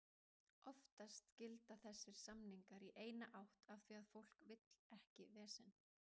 Oftast gilda þessir samningar í eina átt af því að fólk vill ekki vesen.